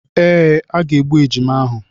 Ee, a ga-egbu ejima ahụ.